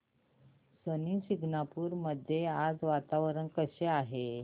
शनी शिंगणापूर मध्ये आज वातावरण कसे आहे